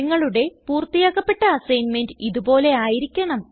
നിങ്ങളുടെ പൂർത്തിയാക്കപ്പെട്ട അസൈൻമെന്റ് ഇത് പോലെ ആയിരിക്കണം